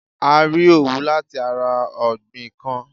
A rí Òwú lati ara ọ̀gbìn kan.